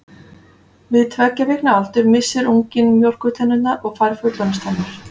Við tveggja vikna aldur missir unginn mjólkurtennurnar og fær fullorðinstennur.